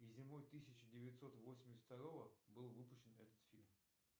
и зимой тысяча девятьсот восемьдесят второго был выпущен этот фильм